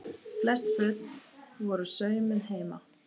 Flest föt voru saumuð heima.